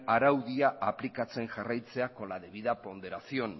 araudia aplikatzen jarraitzea con la debida ponderación